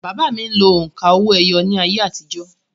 Bàbá mi lo òǹkà owó-ẹyọ ní ayé àtijọ́